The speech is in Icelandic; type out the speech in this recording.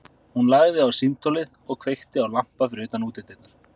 Hún lagði á símtólið og kveikti á lampa fyrir utan útidyrnar.